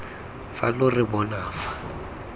fa lo re bona fa